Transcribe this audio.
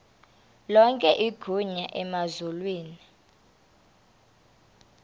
lonke igunya emazulwini